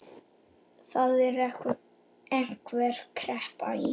Það er einhver kreppa í